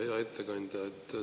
Hea ettekandja!